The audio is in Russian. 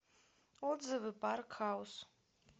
отзывы парк хаус